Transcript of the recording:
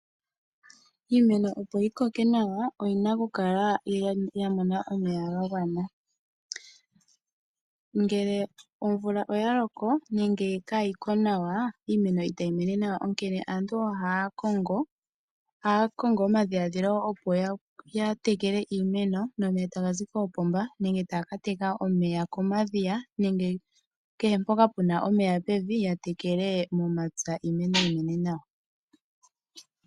Iimeno opo yi koke nawa, oyina oku kala ya mona omeya ga gwana. Ngele omvula oya loko nenge kaa yiko nawa, iimeno itayi mene nawa, onkene aantu ohaya kongo omadhiladhilo goku tekela iimeno nomeya, taga zi koopomba nenge taya ka teka omeya komadhiya nenge kehe mpoka puna omeya pevi, ya tekele momapya iimeno yi mene nawa.